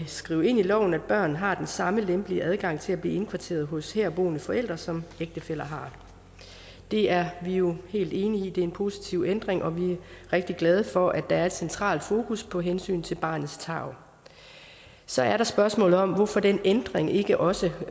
skrevet ind i loven at børn har den samme lempelige adgang til at blive indkvarteret hos herboende forældre som ægtefæller har det er vi jo helt enige i det er en positiv ændring og vi er rigtig glade for at der er et centralt fokus på hensynet til barnets tarv så er der spørgsmålet om hvorfor den ændring ikke også